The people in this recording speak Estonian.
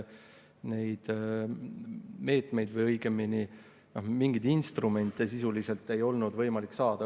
Meetmeid või õigemini mingeid instrumente ei olnud sisuliselt võimalik.